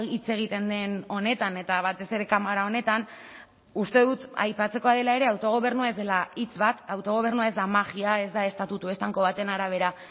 hitz egiten den honetan eta batez ere kamara honetan uste dut aipatzekoa dela ere autogobernua ez dela hitz bat autogobernua ez da magia ez da estatutu estanko baten arabera